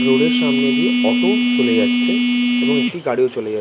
Road এর সামনে দিয়ে অটো চলে যাচ্ছে এবং একটি গাড়ি ও চলে যাচ্ছে ।